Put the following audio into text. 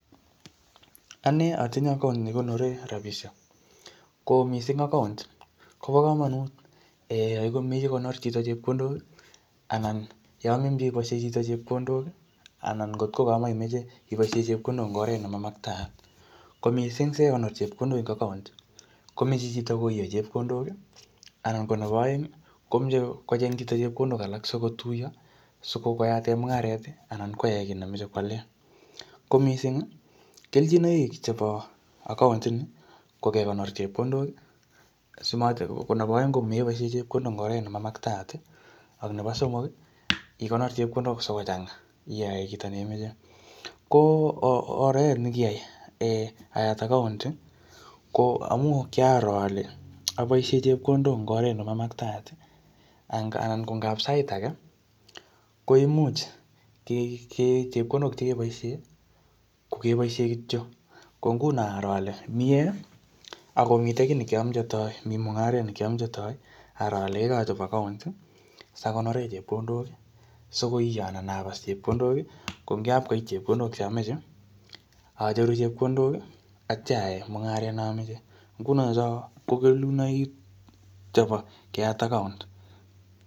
Ane atinye account ne kikonore rabisiek. Ko missing account, kobo komonut um yaikomech kokonor chito chepkondok, anan yeamin iboisiei chito chepkdondok, anan ngotko kamaimeche iboisie chepkondok eng oret ne mamaktaat. Ko missing sikekonor chepkondok ing account, komeche chito koie chepkondok, anan ko nebo aeng, komeche kocheng chito chepkondok alak sikotuyo, sikwo koyate mung'aret anan kwae kiy nemeche kwale. Ko missing, kelchinoik chebo account ni, ko kekonor chepkondok, simat ko nebo aeng komeboisie chepkondok eng oret ne ma maktaat, ak nebo somok, ikonor chepkondok sikochanga, iyae kito neimeche. Ko oret ne kiyai um ayat account, ko amuu kiaro ale aboisie chepkondok eng oret nemamaktaat. Anan ngap sait age koimuch um chepkondok che keboisie, ko keboisie kityo. Ko nguno aro ale miee, akomitei kiy ne kiameche atoi. Mi mung'aret ne kiameche atoi. Aro ale kaikai achop account, sakonore chepkondok, sikoiyo anan abas chepkondok. Ko eng yapkoit chepkondok cheamache, acheru chepkondok, atya aae mung'aret neameche. nguno cho ko kelunoik chebo keyat account.